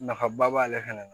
Nafaba b'ale fɛnɛ na